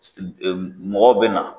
mɔgɔw bɛ na.